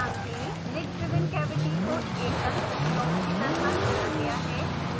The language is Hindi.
ध्यान दें lid driven cavity को एकल ब्लॉक की तरह लिया गया है